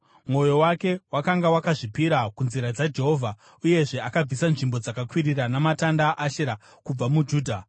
Mwoyo wake wakanga wakazvipira kunzira dzaJehovha uyezve akabvisa nzvimbo dzakakwirira namatanda aAshera kubva muJudha.